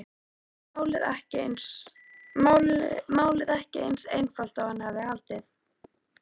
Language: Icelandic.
Málið ekki eins einfalt og hann hafði haldið.